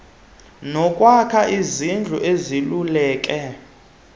nokwakha izindlu zivuleleke